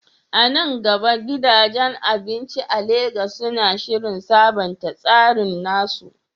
A nan gaba, gidajen abinci a Legas suna shirin sabunta tsarin nasu?